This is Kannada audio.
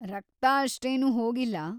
ರಕ್ತ ಅಷ್ಟೇನೂ ಹೋಗಿಲ್ಲ.